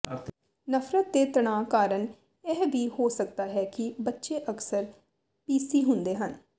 ਨਫ਼ਰਤ ਦੇ ਤਣਾਅ ਕਾਰਨ ਇਹ ਵੀ ਹੋ ਸਕਦਾ ਹੈ ਕਿ ਬੱਚੇ ਅਕਸਰ ਪੀਸੀ ਹੁੰਦੇ ਹਨ